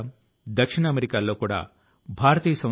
అది స్వచ్ఛత కు స్వచ్ఛ భారత్ కు సంబంధించింది